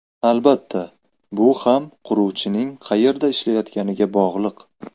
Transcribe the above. Albatta, bu ham quruvchining qayerda ishlayotganiga bog‘liq.